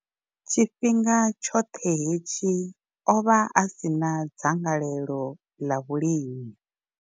Tshifhinga tshoṱhe hetshi, o vha a si na dzangalelo ḽa vhulimi.